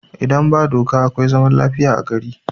Idan da doka akwai zaman lafiya a gari